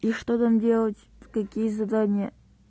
и что там делать какие задания